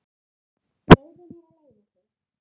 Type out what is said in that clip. Leyfðu mér að leiða þig.